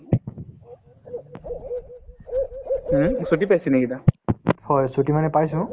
হুম, ছুটীতে আছে নেকি এতিয়া